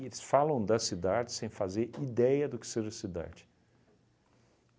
falam da cidade sem fazer ideia do que seja cidade.